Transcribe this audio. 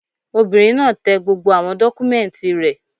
Obìnrin náà tẹ gbogbo àwọn dọ́kúmẹ́ǹtì rẹ̀